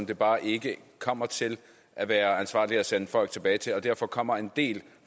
det bare ikke kommer til at være ansvarligt at sende folk tilbage til og derfor kommer en del